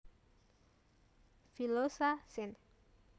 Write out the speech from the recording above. villosa sin